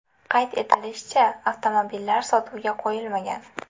Qayd etilishicha, avtomobillar sotuvga qo‘yilmagan.